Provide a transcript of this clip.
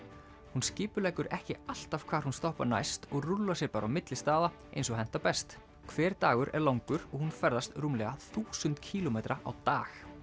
hún skipuleggur ekki alltaf hvar hún stoppar næst og rúllar sér bara á milli staða eins og hentar best hver dagur er langur og hún ferðast rúmlega þúsund kílómetra á dag